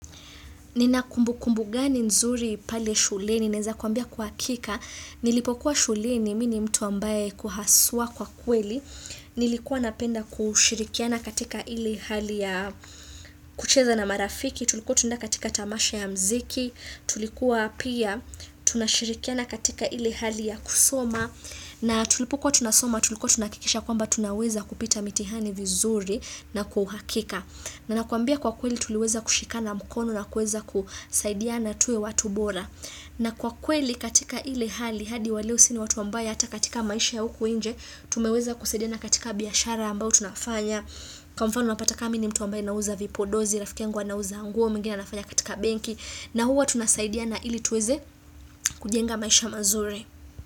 Nina kumbukumbu gani nzuri pale shuleni, naeza kuambia kwa akika, nilipokuwa shuleni mi ni mtu ambaye kwa haswa kwa kweli, nilikuwa napenda kushirikiana katika ile hali ya kucheza na marafiki, tulikuwa tunaeda katika tamasha ya mziki, tulikuwa pia, tunashirikiana katika ile hali ya kusoma, na tulipokuwa tunasoma tulikuwa tunaakikisha kwamba tunaweza kupita mitihani vizuri na kwa uhakika. Na nakuambia kwa kweli tuliweza kushikana mkono na kuweza kusaidiana tuwe watu bora. Na kwa kweli katika ile hali hadi wa leo si ni watu ambaye hata katika maisha ya huku inje, tumeweza kusaidiana katika biashara ambao tunafanya Kwa mfano unapata ka mi ni mtu ambaye nauza vipodozi rafiki yangu anauza nguo, mwingine anafanya katika benki na huwa tunasaidiana ili tuweze kujenga maisha mazuri.